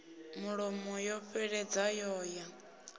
mulomo ya fheleledza yo ya